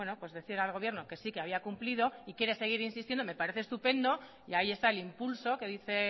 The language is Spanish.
decir al gobierno que sí que había cumplido y quiere seguir insistiendo me parece estupendo y ahí está el impulso que dice